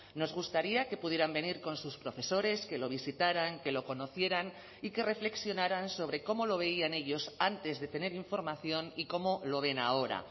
nos gustaría que pudieran venir con sus profesores que lo visitaran que lo conocieran y que reflexionaran sobre cómo lo veían ellos antes de tener información y cómo lo ven ahora